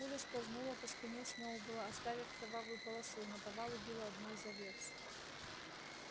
пуля скользнула по спине сноуболла оставив кровавую полосу и наповал убила одну из овец